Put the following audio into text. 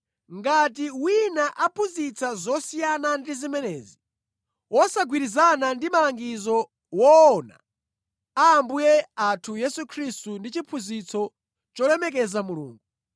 Ngati wina aphunzitsa zosiyana ndi zimenezi, wosagwirizana ndi malangizo woona a Ambuye athu Yesu Khristu ndi chiphunzitso cholemekeza Mulungu,